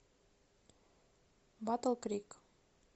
батл крик